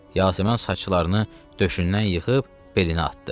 Yasəmən saçlarını döşündən yığıb belinə atdı.